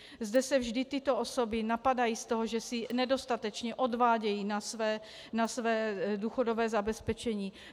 Zde se vždy tyto osoby napadají z toho, že si nedostatečně odvádějí na své důchodové zabezpečení.